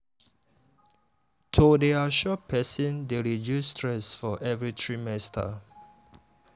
to dey assure person dey reduce stress for every trimester.